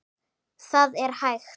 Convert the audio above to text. ÞAÐ ER HÆGT